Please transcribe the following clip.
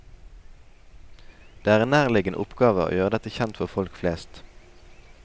Det er en nærliggende oppgave å gjøre dette kjent for folk flest.